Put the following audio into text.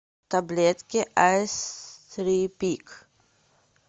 таблетки айстрипик